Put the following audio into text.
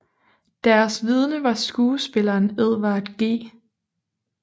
Deres vidne var skuespilleren Edward G